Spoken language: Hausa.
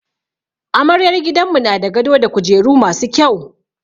Amaryar gidanmu na da gado da kujeru masu kyau.